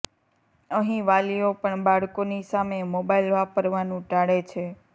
અહીં વાલીઓ પણ બાળકોની સામે મોબાઇલ વાપરવાનું ટાળે છે